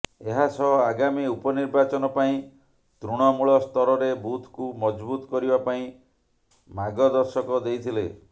ଏହାସହ ଆଗାମୀ ଉପନିର୍ବାଚନ ପାଇଁ ତୃଣମୂଳ ସ୍ତରରେ ବୁଥକୁ ମଜବୁତ୍ କରିବା ପାଇଁ ମାଗଦର୍ଶକ ଦେଇଥିଲେ